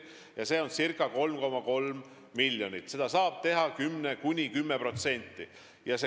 Selleks on ette nähtud ca 3,3 miljonit ja seda saab küsida kuni 10% ulatuses.